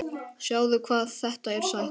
Sjáðu hvað þetta er sætt?